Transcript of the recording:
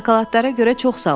Şokoladlara görə çox sağ ol.